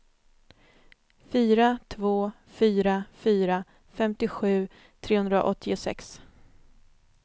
fyra två fyra fyra femtiosju trehundraåttiosex